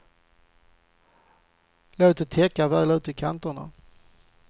Låt det täcka väl ut i kanterna.